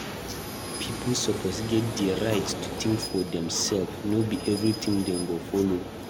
Pipo suppose get di right to think for demself; no be everything dem go follow.